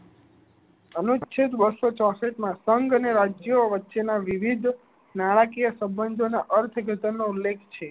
અનુચ્છેદ બસો ચૌસઠ માં સંગ અને રાજ્યો વચ્ચે વિવિધ, નાણાકીય સંબંધો ના અર્થઘટન નો ઉલ્લેખ છે.